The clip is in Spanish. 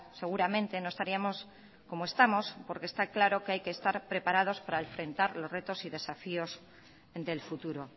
seguramente no estaríamos como estamos porque está claro que hay que estar preparados para enfrentar los retos y desafíos del futuro